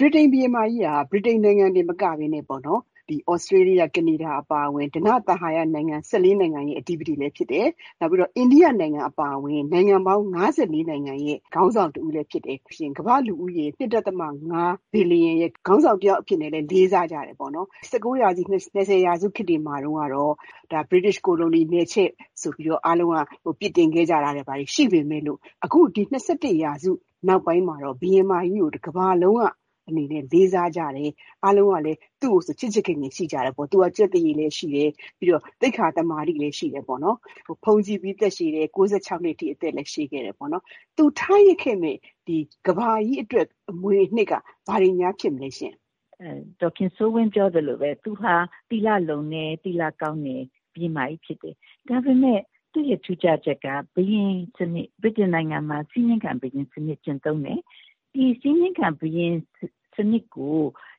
ဗြိတိန်ဘုရင်မကြီးဟာ ဗြိတိန်နိုင်ငံတင်မကဘဲနဲ့ သြစတြေးလျ၊ ကနေဒါအပါအဝင် ဓနသဟာယ နိုင်ငံရဲ့အဓိပတိလည်းဖြစ်တယ်၊ နောက်ပြီးတော့ အိန္ဒိယအပါအဝင် နိုင်ငံပေါင်း နိုင်ငံရဲ့ခေါင်းဆောင်တဦးလည်းဖြစ်တယ်။ ပြီးလို့ရှိရင် ကမ္ဘာ့လူဦးရေ ဘီလီယံရဲ့ ခေါင်းဆောင်အဖြစ်နဲ့လည်း လေးစားကြတယ်ပေါ့နော်၊ ၁၉ ရာစု၊ ၂၀ ရာစုခေတ်တွေမှာတုန်းကတော့ ဗြိတိသျှကိုလိုနီ နယ်ချဲ့ဆိုပြီး အားလုံးက အပြစ်တင်ခဲ့ကြတာတွေ ဘာတွေရှိပေမယ့်လို့ အခု ၂၁ ရာစုနောက်ပိုင်းမှာတော့ ဘုရင်မကြီးကို တကမ္ဘာလုံးကအနေနဲ့ လေးစားကြတယ်။ အားလုံးကလည်း သူ့ကိုဆို ချစ်ချစ်ခင်ခင်ရှိကြတယ်ပေါ့။ သူက ကျက်သရေလည်းရှိတယ်၊ သိက္ခာသမာဓိလည်း ရှိတယ်ပေါ့နော်။ ဗမာလိုပြောရလို့ရှိရင်တော့ သီလကောင်းတယ်လို့ ပြောရမှာပေါ့နော်၊ အသက်ကလည်း ဘုန်းကြီးပြီး အသက်ရှည်တယ်၊ ၉ ၆ နှစ်အထိ နေခဲ့တယ်ပေါ့နော်၊ သူထားရစ်ခဲ့တဲ့ ကမ္ဘာကြီးအတွက် အမွေအနှစ်က ဘာတွေများ ဖြစ်မလဲရှင့်။ ဘုရင်မကြီး ဒုတိယမြောက် အဲလဇ္ဇဘက်ရဲ့ထူးခြားချက်ကတော့ ဘာလဲဆိုလို့ရှိရင် အခုနက ဒေါ်ခင်စိုးဝင်းပြောသလိုပဲ သူဟာ သီလလုံတယ်၊ သီလကောင်းတဲ့ဘုရင်မကြီးဖြစ်တယ်။ ဒါပေမယ့် သူ့ရဲ့ထူးခြားချက်က ဗြိတိန်နိုင်ငံမှာ စည်းမျဉ်းခံဘုရင်စနစ်ကျင့်သုံးတယ်၊ စည်းမျဉ်းခံဘုရင်စနစ်ကို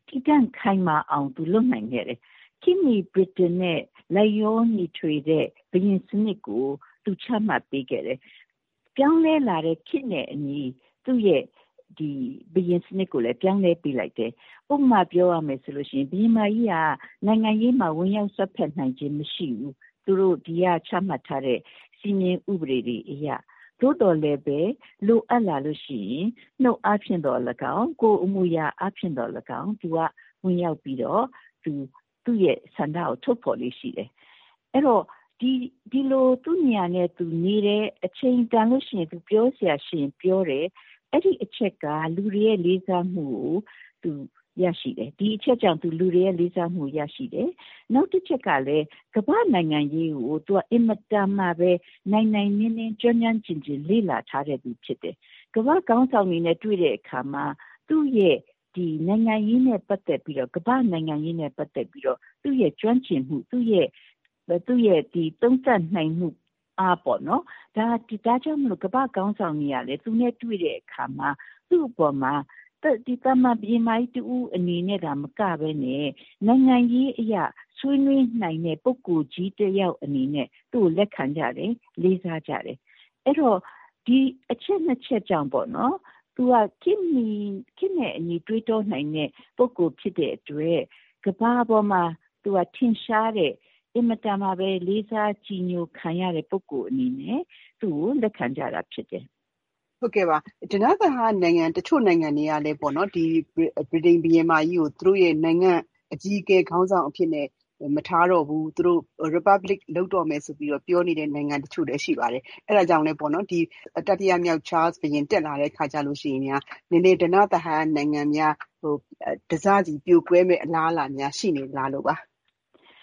တည်တံ့ခိုင် မာအောင် သူလုပ်နိုင်ခဲ့တယ်။ ခေတ်မီဗြိတိန်နဲ့လိုက်လျောညီထွေတဲ့ဘုရင်စနစ်ကို သူ ချမှတ်ပေးခဲ့တယ်။ ဘယ်လိုနည်းနဲ့ သူလုပ်ခဲ့သလဲဆိုလို့ရှိရင် ပြောင်းလဲလာတဲ့ခေတ်နဲ့အညီ သူ့ရဲ့ဘုရင်စနစ်ကိုလည်း ပြောင်းလဲပေးလိုက်တယ်။......ဥပမာပြောရမယ်ဆိုလို့ရှိရင် ဘုရင်မကြီးက နိုင်ငံရေးမှာဝင်ရောက်စွက်ဖက်နိုင်ခြင်း မရှိဘူး။ သူတို့ ဒီကချမှတ်ထားတဲ့ စည်းမျဉ်းဥပဒေတွေအရ၊ သို့သော်လည်းပဲ လိုအပ်လာလို့ရှိရင် နှုတ်အားဖြင့်သော်လည်းကောင်း၊ ကိုယ်အမူအယာအားဖြင့်သော်လည်းကောင်း သူက ဝင်ရောက်ပြီးတော့ သူ့ရဲ့ဆန္ဒကို ထုတ်ဖော်လေ့ရှိတယ်။ အဲဒီတော့ ဒီလို သူ့နေရာနဲ့သူနေတယ်၊ အချိန်တန်လို့ရှိရင် ပြောစရာရှိရင်ပြောတယ်။ အဲဒီအချက်ကြောင့် လူတွေရဲ့လေးစားမှုကို သူရတယ်။....နောက်တချက်ကလည်း ကမ္ဘာ့နိုင်ငံရေးကို သူက အင်မတန်မှပဲ နိုင်နိုင်နင်းနင်း ကျွမ်းကျွမ်းကျင်ကျင် လေ့လာထားခဲ့သူဖြစ်တယ်။ ကမ္ဘာ့ခေါင်းဆောင်တွေနဲ့တွေ့တဲ့အခါမှာ သူ့ရဲ့ ကမ္ဘာ့နိုင်ငံရေးနဲ့ပတ်သက်ပြီးတော့ သူ့ရဲ့ကျွမ်းကျင်မှု၊ သူ့ရဲ့သုံးသပ်နိုင်မှုအားပေါ့နော်- ဒါကြောင့်မို့လို့ ကမ္ဘာ့ခေါင်းဆောင်တွေကလည်း သူနဲ့တွေ့တဲ့အခါမှာ သူ့အပေါ်မှာ သာမန်ဘုရင်မကြီးတဦးအနေနဲ့သာမကဘဲနဲ့ နိုင်ငံရေးအရ ဆွေးနွေးနိုင်တဲ့ပုဂ္ဂိုလ်ကြီးတယောက်အနေနဲ့ သူ့ကို လက်ခံကြတယ်၊ လေးစားကြတယ်။ အဲဒီတော့ ဒီအချက်နှစ်ချက်ကြောင့်ပေါ့နော် - သူဟာ ခေတ်နဲ့အညီတွေးတောနိုင်တဲ့ပုဂ္ဂိုလ်ဖြစ်တဲ့အတွက် ကမ္ဘာပေါ်မှာ ထင်ရှားတဲ့၊ အင်မတန်မှပဲ လေးစားကြည်ညိုခံရတဲ့ပုဂ္ဂိုလ်အနေနဲ့ သူ့ကိုလက်ခံကြတာဖြစ်တယ်။ ဟုတ်ကဲ့ပါ။ တချို့ ဓနသဟာယနိုင်ငံတွေကလည်းပဲ ဗြိတိန်ဘုရင်မကြီးကို သူတို့ရဲ့နိုင်ငံ့အကြီးအကဲ ခေါင်းဆောင်အဖြစ်နဲ့ မထားတော့ဘူး၊ သူတို့ Republic လုပ်တော့မယ်ဆိုပြီးတော့ ပြောနေတဲ့နိုင်ငံတချို့လည်း ရှိပါတယ်။ အဲဒါကြောင့်လည်း တတိယမြောက် ချားလ်စ်ဘုရင်တက်လာတဲ့အခါကျလို့ရှိရင်များ ဓနသဟာယနိုင်ငံတွေများ တစစီ ပြိုကွဲမယ့်အလားအလာများ ရှိနေသလားလို့ပါ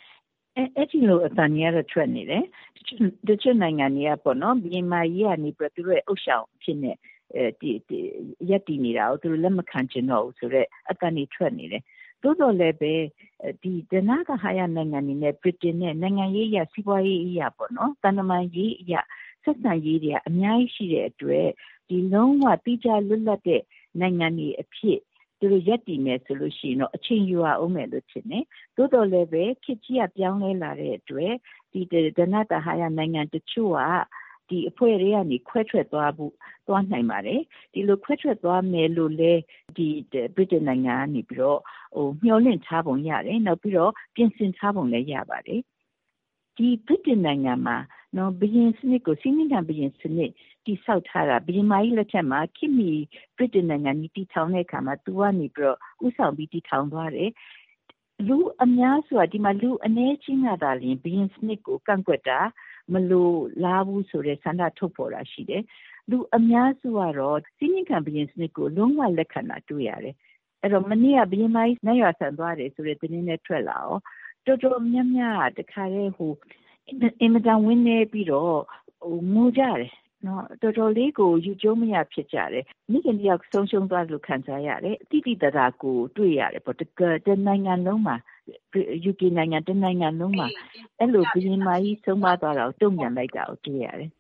။ အဲဒီလို အသံတွေကတော့ ထွက်နေတယ်၊ တချို့နိုင်ငံတွေကပေါ့နော်- ဘုရင်မကြီးကနေပြီးတော့ သူတို့ရဲ့ဥသျှောင်အဖြစ်နဲ့ ရပ်တည်နေတာကို သူတို့ လက်မခံချင်တော့ဘူးဆိုတဲ့အသံတွေ ထွက်နေတယ်။ သို့သော်လည်းပဲ ဓနသဟာယနိုင်ငံတွေနဲ့ ဗြိတိန်နိုင်ငံရဲ့ နိုင်ငံရေးအရ၊ စီးပွါးရေးအရ၊ သံတမန်ရေးအရ ဆက်ဆံရေးတွေက အများကြီးရှိတဲ့အတွက် လုံးဝသီးခြားလွတ်လပ်တဲ့ နိုင်ငံတွေအဖြစ် သူတို့ရပ်တည်မယ်ဆိုရင်တော့ အချိန်ယူရအုံးမယ်ထင်တယ်။ သို့သော် လည်းပဲ ခေတ်ကြီးက ပြောင်းလဲလာတဲ့အတွက် ဓနသဟာယနိုင်ငံတချို့က အဖွဲ့ ထဲကနေ ခွဲထွက်သွားနိုင်ပါယ်။ ဒီလို ခွဲထွက်သွားမယ်လို့လည်း ဗြိတိန်နိုင်ငံကနေပြီးတော့ မျှော်လင့်ထားပုံရတယ်။ နောက်ပြီးတော့ ပြင်ဆင်ထားပုံလည်း ရပါတယ်။ ဒီဗြိတိန်နိုင်ငံမှာ စည်းမျဉ်းခံဘုရင်စနစ်တည်ဆောက်ထားတာ ဘုရင်မကြီးလက်ထက်မှာ ခေတ်မီဗြိတိန်နိုင်ငံကြီး တည်ထောင်တဲ့အခါမှာ သူကနေပြီးတော့ ဦးဆောင်ပြီး တည်ထောင်သွားတယ်။ ဒီမှာ လူအနည်းအကျဉ်းကသာလျှင် ဘုရင်စနစ်ကို ကန့်ကွက်တာ၊ မလိုလားဘူးဆိုတဲ့ဆန္ဒထုတ်ဖော်တာရှိတယ်။ လူအများစုကတော့ စည်းမျဉ်းခံဘုရင်စနစ်ကို လုံးဝ လက်ခံတာတွေ့ရတယ်။ အဲဒီတော့ မနေ့က ဘုရင်မကြီး နတ်ရွာစံသွားတယ်ဆိုတဲ့သတင်းလည်းထွက်လာရော တော်တော်များများက တခါတည်း အင်မတန်ဝမ်းနည်းပြီးတော့ ငိုကြတယ်။ တော်တော်လေးကို ယူကျုံးမရဖြစ်ကြတယ်။ မိခင်တယောက် ဆုံးရှုံးသွားသလို ခံစားရတယ်။ သိသိသာသာကို တွေ့ရတယ်ပေါ့။ ယူကေနိုင်ငံ တနိုင်ငံလုံးမှာ ဘုရင်မကြီး ဆုံးပါးသွားတာကို အဲလို တုံ့ပြန်လိုက်တာ တွေ့ရတယ်